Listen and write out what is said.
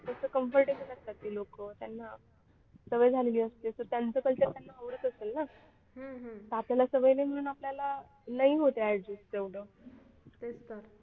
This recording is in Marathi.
तसं comfortable असतात ते लोक त्यांना सवय झालेली असते तर त्यांचं culture त्यांना आवडत असेल ना आपल्याला सवय नाही म्हणून आपल्याला नाही होत adjust तेवढं.